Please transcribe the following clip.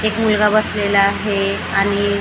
एक मुलगा बसलेला आहे आणि--